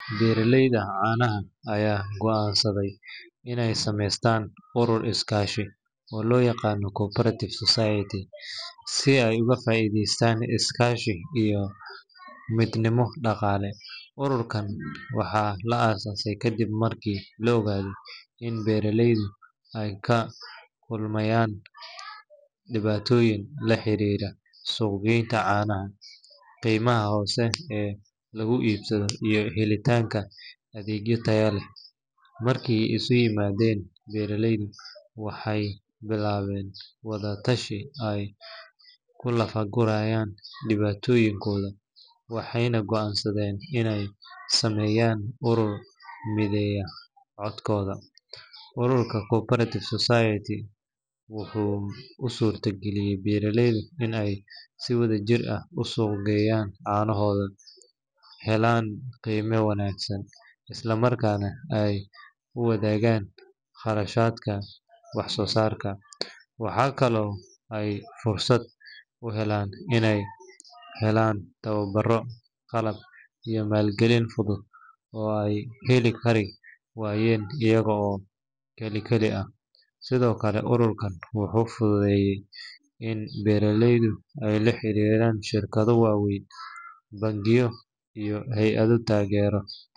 Beeraleyda caanaha ayaa go’aansaday inay sameystaan urur iskaashi oo loo yaqaan co-operative society, si ay uga faa’iideystaan iskaashi iyo midnimo dhaqaale. Ururkan waxaa la aasaasay kadib markii la ogaaday in beeraleydu ay la kulmayaan dhibaatooyin la xiriira suuq-geynta caanaha, qiimaha hoose ee lagu iibsado, iyo helitaanka adeegyo tayo leh. Markii ay isu yimaadeen, beeraleydu waxay bilaabeen wada-tashi ay ku lafa-gurayaan dhibaatooyinkooda, waxayna go’aansadeen inay sameeyaan urur mideeya codkooda. Ururkan co-operative society wuxuu u suurtageliyay beeraleyda in ay si wadajir ah u suuq geeyaan caanahooda, helaan qiime wanaagsan, isla markaana ay wadaagaan kharashaadka wax soo saarka. Waxaa kaloo ay fursad u heleen inay helaan tababaro, qalab, iyo maalgelin fudud oo ay heli kari waayeen iyaga oo kali kali ah. Sidoo kale, ururkan wuxuu fududeeyay in beeraleydu ay la xiriiraan shirkado waaweyn, bangiyo, iyo hay’ado taageero.